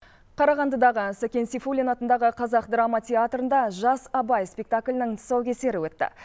қарағандыдағы сәкен сейфуллин атындағы қазақ драма театрында жас абай спектаклінің тұсау кесері өтті